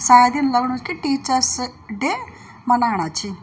शायद इन लगणु कि टीचर्स-डे मनाणा छि।